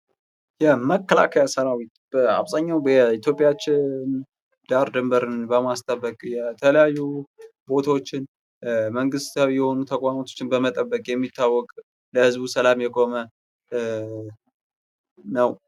የመከላከያ ሰራውት በአብዛኛው በኢትዮጵያችን ዳር ድንበርን በማስጠበቅ የተለያዩ ቦታወችን፣ መንግስታዊ የሆኑ ተቋሞቹን፣ በመጠበቅ የሚታወቀው ለህዝቡ ሰላም የቆመ ነው።